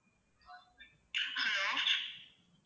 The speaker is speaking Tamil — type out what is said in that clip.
hello